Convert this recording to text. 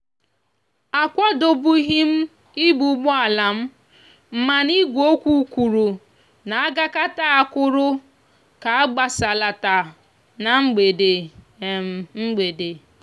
akwadobugim ibu ùgbòalam mana igwe okwu kwuru na agakata akwúrú ka agbasalata na mgbede. mgbede.